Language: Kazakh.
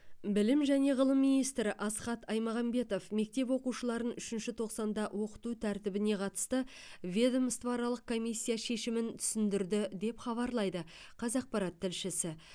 білім және ғылым министрі асхат аймағамбетов мектеп оқушыларын үшінші тоқсанда оқыту тәртібіне қатысты ведомствоаралық комиссия шешімін түсіндірді деп хабарлайды қазақпарат тілшісі